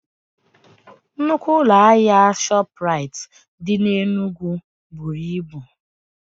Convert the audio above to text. Nnukwu ụlọ ahịa ShopRite dị N'Enugu buru ibu.